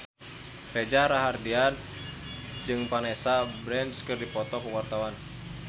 Reza Rahardian jeung Vanessa Branch keur dipoto ku wartawan